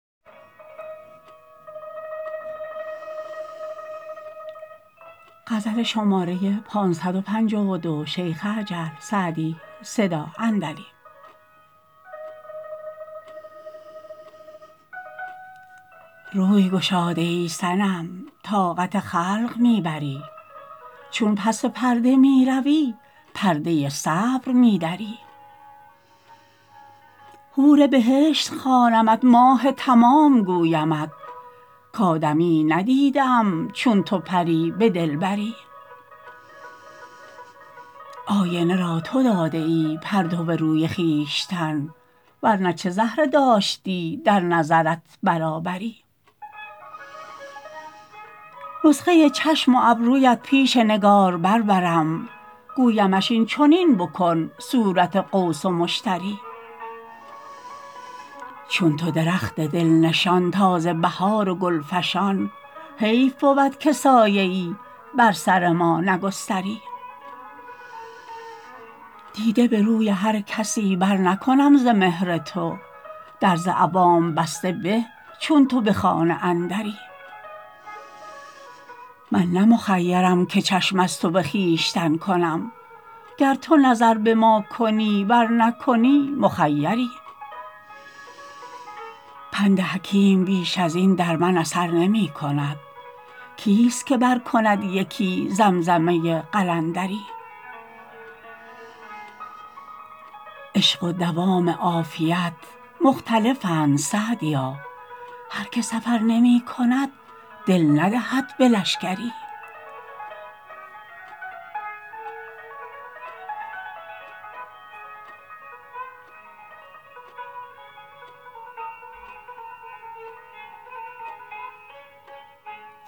روی گشاده ای صنم طاقت خلق می بری چون پس پرده می روی پرده صبر می دری حور بهشت خوانمت ماه تمام گویمت کآدمیی ندیده ام چون تو پری به دلبری آینه را تو داده ای پرتو روی خویشتن ور نه چه زهره داشتی در نظرت برابری نسخه چشم و ابرویت پیش نگارگر برم گویمش این چنین بکن صورت قوس و مشتری چون تو درخت دل نشان تازه بهار و گل فشان حیف بود که سایه ای بر سر ما نگستری دیده به روی هر کسی برنکنم ز مهر تو در ز عوام بسته به چون تو به خانه اندری من نه مخیرم که چشم از تو به خویشتن کنم گر تو نظر به ما کنی ور نکنی مخیری پند حکیم بیش از این در من اثر نمی کند کیست که برکند یکی زمزمه قلندری عشق و دوام عافیت مختلفند سعدیا هر که سفر نمی کند دل ندهد به لشکری